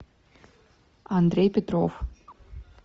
андрей петров